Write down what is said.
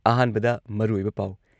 ꯑꯍꯥꯟꯕꯗ ꯃꯔꯨꯑꯣꯏꯕ ꯄꯥꯎ